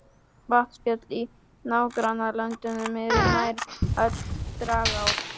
Vatnsföll í nágrannalöndunum eru nær öll dragár.